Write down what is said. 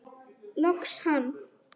Loks hann!